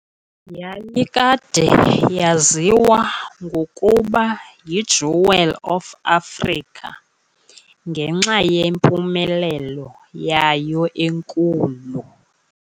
Yayikade yaziwa ngokuba yi "Jewel of Africa" ​​ngenxa yempumelelo yayo enkulu.